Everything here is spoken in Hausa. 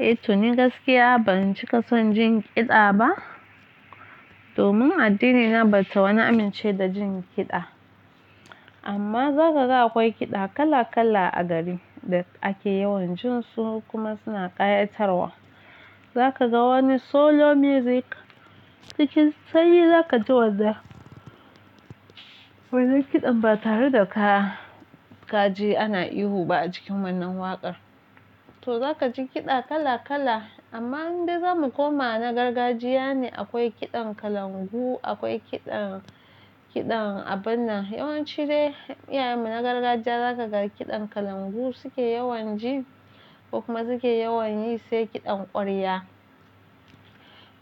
Eh, to ni gaskiya ban cika san jin kiɗa ba domin addinina bata wani amince da jin kiɗa. Amma za ka ga akwai kiɗa kala-kala a gari da ake yawan jin su kuma suna ƙayatarwa. Za ka ga wani solo music cikin sanyi za ka ji wanda kiɗan ba tare da ka kaje ana ihu ba a cikin wannan waƙar. To za ka ji kiɗa kala-kala amma inde zamu koma na gargajiya ne akwai kiɗan kalangu, akwai kiɗan abinna. Yawanci dai iyayenmu na gargajiya za ka ga kiɗan kalangu suke yawan ji kuma suke yawan yi sai kiɗan ƙwarya.